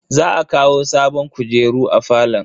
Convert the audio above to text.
Za a kawo sabon kujeru a falon.